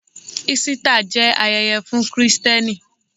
Ísítà jẹ́ ayẹyẹ fún Kristẹni.